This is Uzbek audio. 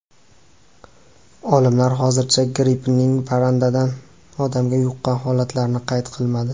Olimlar hozircha grippning parrandadan odamga yuqqan holatlarini qayd qilmadi.